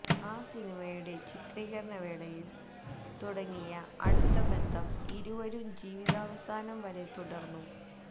ആ സിനിമയുടെ ചിത്രീകരണവേളയില് തുടങ്ങിയ അടുത്ത ബന്ധം ഇരുവരും ജീവിതാവസാനം വരെ തുടര്ന്നു